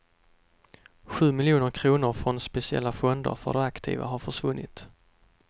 Sju miljoner kronor från speciella fonder för de aktiva har försvunnit.